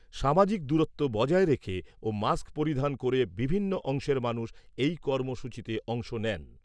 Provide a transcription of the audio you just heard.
সামাজিক দূরত্ব বজায় রেখে ও মাস্ক পরিধান করে বিভিন্ন অংশের মানুষ এই কর্মসূচিতে অংশ নেন।